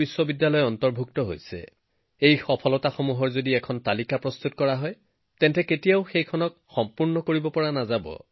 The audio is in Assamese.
যদি আপুনি এই উপলব্ধিবোৰৰ তালিকা এখন বনাবলৈ আৰম্ভ কৰে তেন্তে ই কেতিয়াও সম্পূৰ্ণ নহব